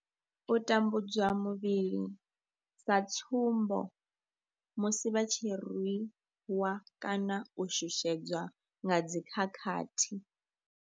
U tambudzwa muvhili sa tsumbo, musi vha tshi rwiwa kana u shushedzwa nga dzi khakhathi.